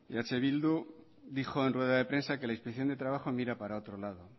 eh bildu dijo en rueda de prensa que la inspección de trabajo mira para otro lado